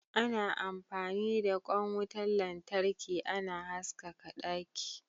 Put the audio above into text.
Ana amfani da kwain wutan lantarki ana haskaka daki.